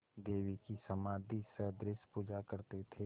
देवी की समाधिसदृश पूजा करते थे